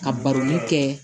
Ka baroli kɛ